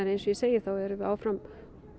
eins og ég segi þá erum við áfram